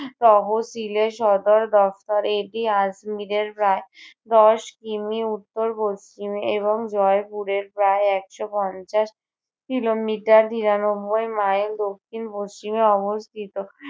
তহসিলের সদর দপ্তর, এটি আজমীরের প্রায় আহ দশ কি. মি. উত্তর পশ্চিমে এবং জয়পুরের প্রায় একশো পঞ্চাশ kilometrer নিরানব্বই mile দক্ষিণ পশ্চিমে অবস্থিত।